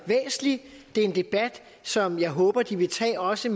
er en debat som jeg håber de vil tage også